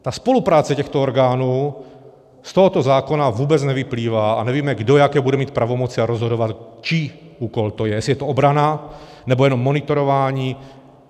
Ta spolupráce těchto orgánů z tohoto zákona vůbec nevyplývá a nevíme, kdo jaké bude mít pravomoce, a rozhodovat, čí úkol to je, jestli je to obrana, nebo jenom monitorování.